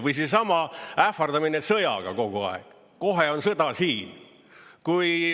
Või seesama ähvardamine sõjaga kogu aeg, kohe on sõda siin.